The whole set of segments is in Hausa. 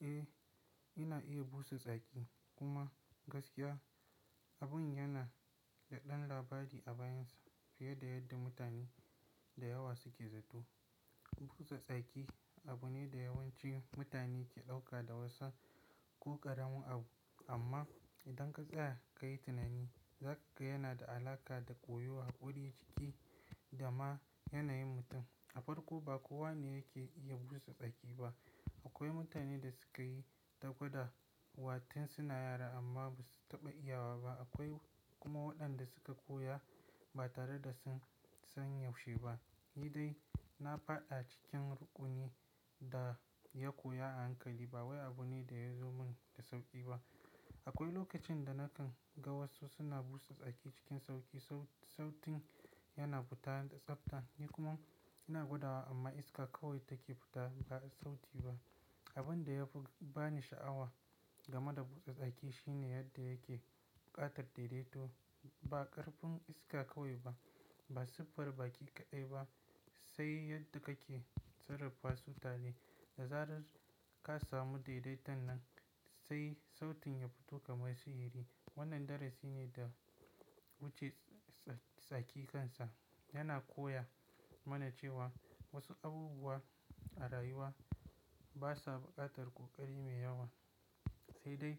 Eh, ina iya busa tsaki kuma gaskiya abun yana da ɗan labari a bayinsa fiye da yadda mutane da yawa suke zato. Busa tsaki abu ne da yawanci mutane ke ɗauka da wasan ko ƙaramin abu amma idan ka tsaya ka yi tunani, za ka ga yana da alaƙa da koyo, haƙuri, ciki da ma yanayin mutum. A farko ba kowa ne yake iya busa tsaki ba. Akwai mutanen da suka yi ta gwada watan suna yara amma ba su taɓa iya wa ba. Akwai kuma waɗanda suka koya ba tare da sun san yaushe ba. Ni dai na faɗ cikin rukunin da ya koya a hankali. Ba waya ba ne da ya zo min da sauƙi ba akwai lokacin da nakan ga wasu suna busa tsaki cikin sauƙi sautin ya na fita da tsafta, ni kuma ina gwadawa amma iska kawai ta ke fita ba sauti ba abin da ya fi bani sha'awa game da busa tsaki shine yadda yake buƙatar daidaito. Ba ƙarfin iska kawai ba, ba siffar baki kaɗai ba, sai yadda kake sarrafa su tare. Da zarar ka samu daidaiton nan sai sautin ya fito kamar sihiri. Wannan darasi ne wacce tsaki kansa yana koya mana cewa wasu abubuwa a rayuwa basa buƙatar ƙoƙari mai yawa. Sai dai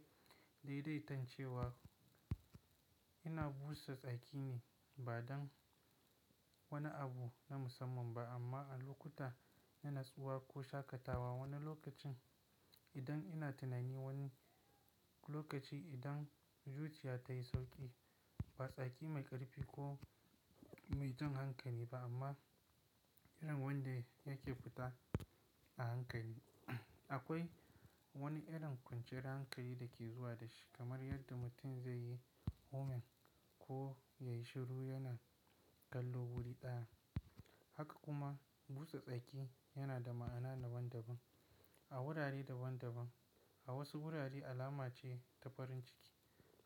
daidaiton cewa ina busa tsaki ne ba don wani abu na musamman ba, amma a lokuta na nutsuwa ko shaƙatawa wani lokacin idan ina tunani wani lokacin idan zuciya ta yi sauƙi ba tsaki mai ƙarfi ko mai jan hankali ba amma irin wanda yake fita a hankali. Akwai wani irin kwanciyar hankali da ke zuwa da shi kamar yadda mutum zai yi warming ko yayi shiru yana kallo wuri ɗaya. Haka kuma busa tsaki yana da ma'ana daban-daban a wurare daban-daban. A wasu wurare alama ce ta farin ciki,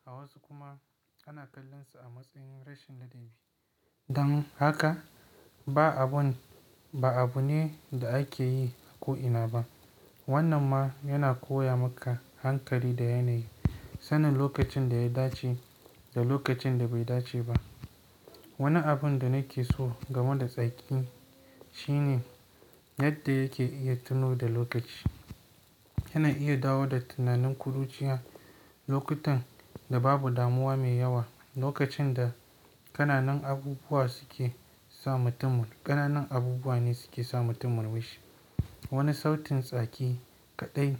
a wasu kuma ana kallon sa a matsayin rashin ladabi. Dan haka ba abun, ba abu ne da ake yi ko ina ba. Wannan ma yana koya maka hankali da yanayi, sanin lokacin da ya dace da lokacin da bai dace ba. Wani abun da nake so game da tsaki shine yadda yake iya tuno da lokaci. Yana iya dawo da tunanin ƙuruciya lokutan da babu damuwa mai yawa. Lokacin da ƙananan abubuwa suke sa mutum, ƙananan abubuwa ne suke sa mutum murmushi. Wani sautin tsaki kaɗai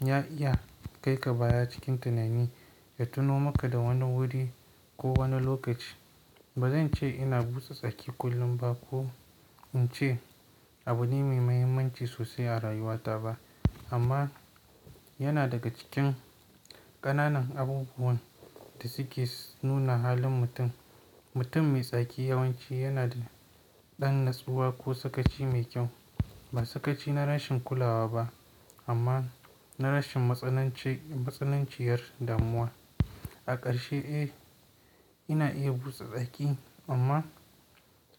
ya iya kai ka baya cikin tunani, ya tuno maka da wani wuri ko wani lokaci. Ba zan ce ina busa tsaki kullum ba ko in ce abu ne mai muhimmanci sosai a rayuwata ba amma yana daga cikin ƙananan abubuwan da suke nuna halin mutum. Mutum mai tsaki yawanci yana da ɗan natsuwa ko sakaci mai kyau. Ba sakaci na rashin kulawa ba amma na rashin matsananci, matsananciyar damuwa. A ƙarshe, eh ina iya busa tsaki amma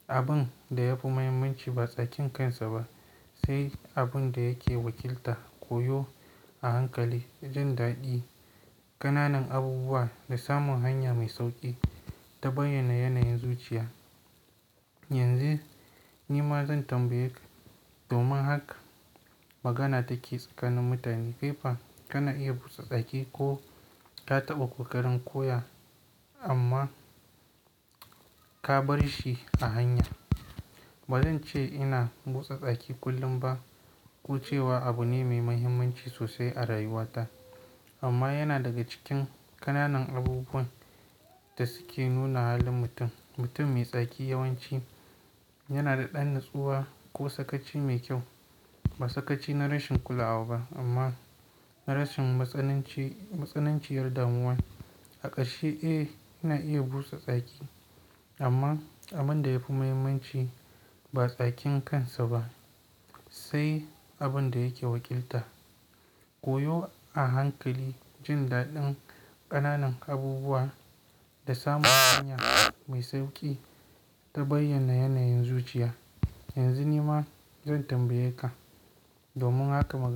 abin da yafi muhimmanci ba tsakin kansa ba, sai abun da yake wakilta. Koyo a hankali, jin daɗi ƙananan abubuwa da samun hanya mai sauƙi ta bayyana yanayin zuciya. Yanzu ni ma zan tambaye ka domin haka magana ta ke tsakanin mutane, kai fa ka na iya busa tsaki ko ja taɓa ƙoƙarin koya amma ka bar shi a hanya ba zan ce ina busa tsaki kullum ba ko cewa abu ne mai muhimmanci sosai a rayuwata amma yana daga cikin ƙananan abubuwan da suke nuna halin mutum. Mutum mai tsaki yawanci yana da ɗan natsuwa ko sakaci mai kyau. Ba sakaci na rashin kulawa ba amma na rashin matsananci, matsananciyar damuwa. A ƙarshe, eh ina iya busa tsaki amma abin da yafi muhimmanci ba tsakin kansa ba sai abin da yake wakilta. Koyo a hankali, jin daɗin ƙananan abubuwa da samun hanya mai sauƙi ta bayyana yanayin zuciya. Yanzu ni ma zan tambaye ka, domin haka magana.